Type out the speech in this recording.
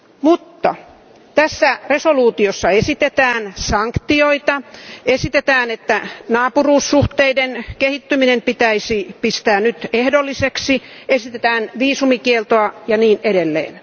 Mutta tässä päätöslauselmassa esitetään sanktioita, esitetään, että naapuruussuhteiden kehittyminen pitäisi pistää nyt ehdolliseksi, esitetään viisumikieltoa ja niin edelleen.